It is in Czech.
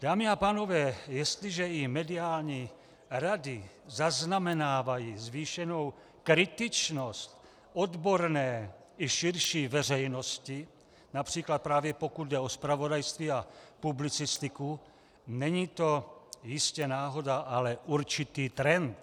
Dámy a pánové, jestliže i mediální rady zaznamenávají zvýšenou kritičnost odborné i širší veřejnosti, například právě pokud jde o zpravodajství a publicistiku, není to jistě náhoda, ale určitý trend.